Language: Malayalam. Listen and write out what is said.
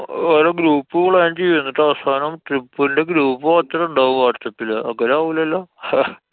ഓരോ group plan ചെയ്യ്. ന്നിട്ട് അവസാനം trip ന്‍റെ group മാത്രണ്ടാവും whatsapp ല് അങ്ങനെ ആവൂലല്ലോ?